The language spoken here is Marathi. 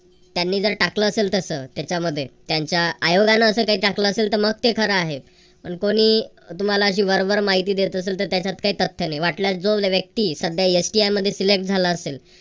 त्यांनी जर वाटतं असलं तसं त्याच्यामध्ये त्यांच्या आयोगानं असं काही टाकलं असेल मग ते खरं आहे पण कोणी तुम्हाला अशी वर वर माहिती देत असल तर त्याच्यात काय तथ्य नाही वाटल्यास जो व्यक्ती सध्या STI मध्ये सिलेक्ट झाला असेल